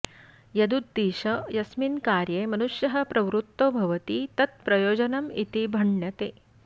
यदुद्दिश्य यस्मिन् कार्ये मनुष्यः प्रवृत्तो भवति तत् प्रयोजनमिति भण्यते